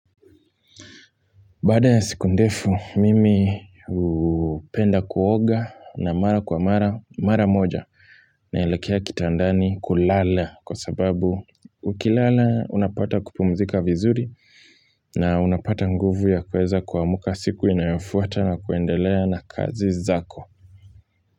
Baada ya siku ndefu, mimi upenda kuoga na mara kwa mara mara moja naelekea kitandani kulala kwa sababu ukilala unapata kupumzika vizuri. Na unapata nguvu ya kuweza kuamuka siku inayofuata na kuendelea na kazi zako.